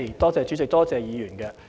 多謝謝議員。